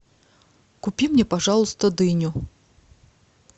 купи мне пожалуйста дыню